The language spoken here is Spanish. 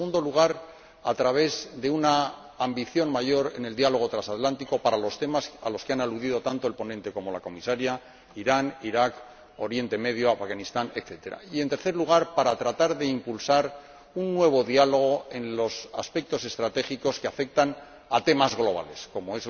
En segundo lugar, a través de una ambición mayor en el diálogo transatlántico para los temas a los que han aludido tanto el ponente como la Comisaria Irán, Iraq, Oriente Próximo, Afganistán, etc. Y, en tercer lugar, para tratar de impulsar un nuevo diálogo en los aspectos estratégicos que afectan a temas globales, como